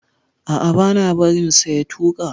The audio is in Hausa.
A'a, bana barin sa ya tuka.